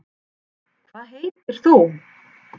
hvað heitir þú